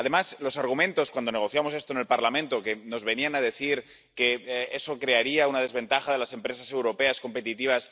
Además, los argumentos cuando negociamos esto en el Parlamento, que nos venían a decir que eso crearía una desventaja de las empresas europeas competitivas...